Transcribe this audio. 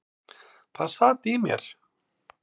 Það sat í mér.